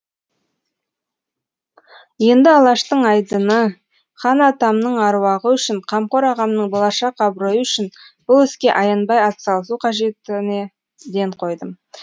енді алаштың айдыны хан атамның аруағы үшін қамқор ағамның болашақ абыройы үшін бұл іске аянбай атсалысу қажетіне ден қойдым